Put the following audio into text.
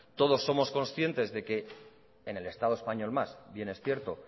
todos somos conscientes de que en el estado español más bien es cierto